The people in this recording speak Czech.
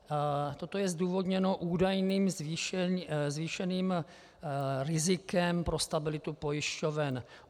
Toto je zdůvodněno údajným zvýšeným rizikem pro stabilitu pojišťoven.